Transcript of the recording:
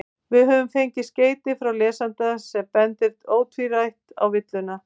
Við höfum fengið skeyti frá lesanda sem bendir ótvírætt á villuna.